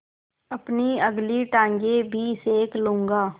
अपनी अगली टाँगें भी सेक लूँगा